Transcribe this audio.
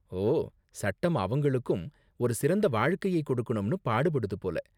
ஓ! சட்டம் அவங்களுக்கும் ஒரு சிறந்த வாழ்க்கையை கொடுக்கணும்னு பாடுபடுது போல!